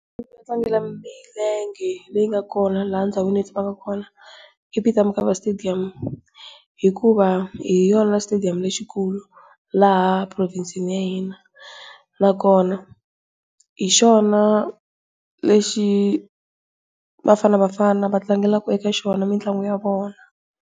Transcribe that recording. Yo tlangela milenge leyi nga kona laha ndhawini leyi hi tshamaka kona I Peter Mokaba stadium. Hikuva hi yona stadium lexikulu laha provhinsini ya hina. Nakona hi xona lexi Bafana Bafana va tlangelaka eka xona mitlangu ya vona.